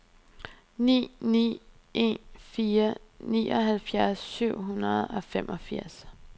ni ni en fire nioghalvfjerds syv hundrede og femogfirs